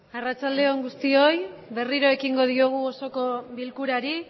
arratsalde on guztioi berriro ekingo diogu osoko bilkurari